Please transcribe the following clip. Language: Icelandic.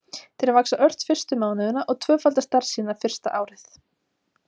Þeir vaxa ört fyrstu mánuðina og tvöfalda stærð sína fyrsta árið.